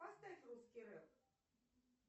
поставь русский рэп